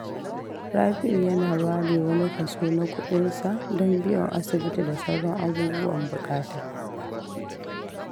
Rabi’u yana ware wani kaso na kudinsa don biyan asibiti da sauran abubuwan bukata.